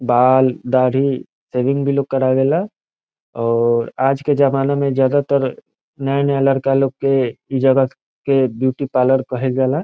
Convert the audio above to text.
बाल दाढ़ी सेविंग भी लोग करावेला और आज के जमाना में ज्यादातर नया-नया लड़का लोग के इ ज्यादा के ब्यूटी पार्लर कहेला।